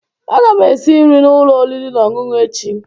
Aga m esi nri n'ụlọ oriri na ọṅụṅụ echi